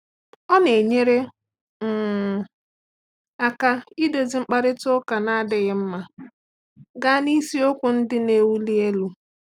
Ọ na-enyere um aka iduzi mkparịta ụka na-adịghị mma gaa n’isiokwu ndị na-ewuli elu.